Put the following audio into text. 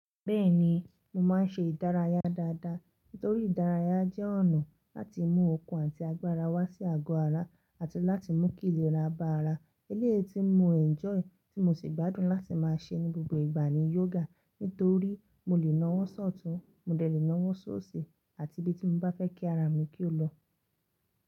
Bẹ́ẹ̀ni, mo máa ń ṣe ìdárayá dáadáa torí ìdárayá jẹ́ ọ̀nà láti mú okun àti agbára wá sí àgọ́ ara àti láti mú kìíléra bá ara. Eléyii tí mo enjoy tí mo sì gbádùn láti máa ṣe ní gbogbo ìgbà ni yoga. Nítorí mo lè nawọ́ sọ̀tún, mo lè lè nawọ́ ṣoosi àti ibi tí mo bá fẹ́ kí ara mi kí ó lọ.